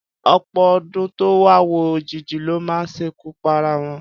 Ọ̀pọ̀ ọ̀dọ́ tó ń wáwó òjijì ló máa ṣekú para wọn.